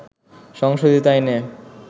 সংশোধিত আইনে